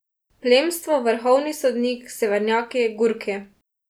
Plemstvo, vrhovni sodnik, severnjaki, Gurki.